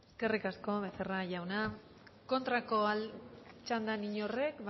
eskerrik asko becerra jauna kontrako txandan inork ez